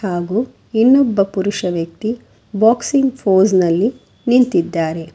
ಹಾಗು ಇನ್ನೊಬ್ಬ ಪುರುಷ ವ್ಯಕ್ತಿ ಬಾಕ್ಸಿಂಗ್ ಪೋಸ್ ನಲ್ಲಿ ನಿಂತಿದ್ದಾರೆ.